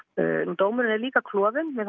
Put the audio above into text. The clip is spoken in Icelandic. dómurinn er líka klofinn mér